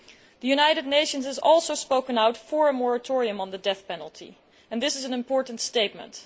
The United Nations has also spoken out in favour of a moratorium on the death penalty, and this is an important statement.